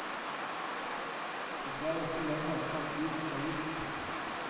Du tar ikke lenger fremtiden for gitt.